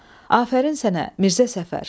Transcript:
Afərin sənə, Mirzə Səfər.